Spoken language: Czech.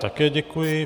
Také děkuji.